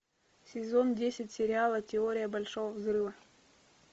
сезон десять сериала теория большого взрыва